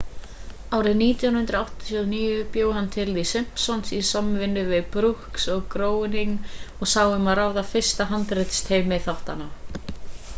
árið 1989 bjó hann til the simpsons í samvinnu við brooks og groening og sá um að ráða fyrsta handritsteymi þáttanna